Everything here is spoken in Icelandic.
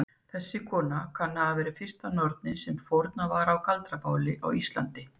Þessi kona kann að hafa verið fyrsta nornin sem fórnað var á galdrabáli á Íslandi.